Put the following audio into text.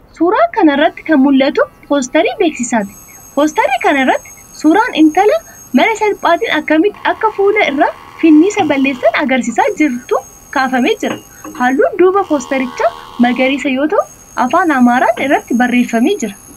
Suuraa kana irratti kan mul'atu poosterii beeksisaati. Poosterii kana irratti suuraan intala mala salphaatiin akkamitti akka fuula irraa finniisa balleessan agarsiisaa jirtu kaafamee jira. Halluun duubaa poosterichaa magariisa yoo ta'u, afaan Amaaraan irratti barreeffamee jira.